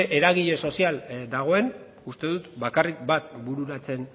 eragile sozial dagoen uste dut bakarrik bat bururatzen